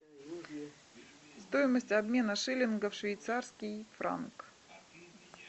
стоимость обмена шиллингов в швейцарский франк